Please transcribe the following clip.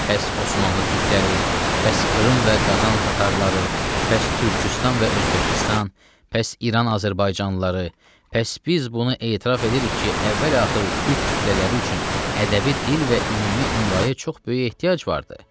Pəs Osmanlı türkləri, pəs Krım və Qazan tatarları, pəs Türküstan və Özbəkistan, pəs İran azərbaycanlıları, pəs biz bunu etiraf edirik ki, əvvəl-axır türk kütlələri üçün ədəbi dil və ümumi imlaya çox böyük ehtiyac vardır.